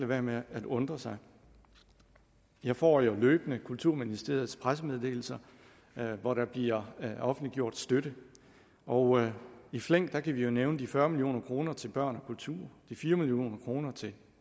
være med at undre sig jeg får jo løbende kulturministeriets pressemeddelelser hvor der bliver offentliggjort støtte og i flæng kan vi jo nævne de fyrre million kroner til børn og kultur de fire million kroner til